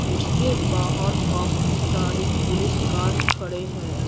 जिसके बाहर काफी सारे पुलिस कार्स खड़े हैं।